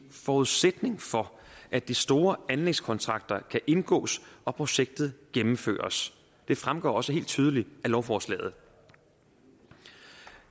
forudsætning for at de store anlægskontrakter kan indgås og projektet gennemføres det fremgår også helt tydeligt af lovforslaget